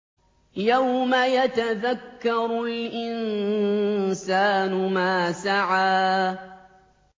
يَوْمَ يَتَذَكَّرُ الْإِنسَانُ مَا سَعَىٰ